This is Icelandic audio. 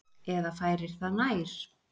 Eða færir það nær.